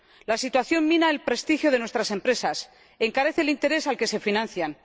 La situación mina el prestigio de nuestras empresas y encarece el interés al que se financian.